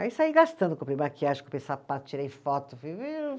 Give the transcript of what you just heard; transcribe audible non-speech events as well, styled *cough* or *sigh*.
Aí saí gastando, comprei maquiagem, comprei sapato, tirei foto. *unintelligible*